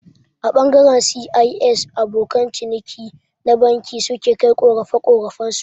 A ɓangaren C.I.S abokan ciniki na banki su ke kai ƙorafe-ƙorafen su